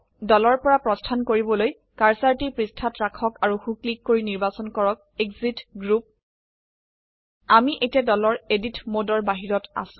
দলৰ পৰা প্ৰস্থান কৰিবলৈ কাৰ্সাৰটি পৃষ্ঠাযত ৰাখক আৰু সো ক্লিক কৰি নিৰ্বাচন কৰক এক্সিট গ্ৰুপ আমি এতিয়া দলৰ এডিট মোডৰ বাহিৰত আছো